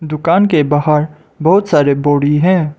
दुकान के बाहर बहुत सारे बोरी हैं।